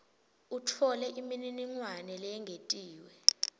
utfole imininingwane leyengetiwe